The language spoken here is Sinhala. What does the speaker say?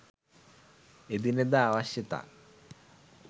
එදිනෙදා අවශ්‍යතා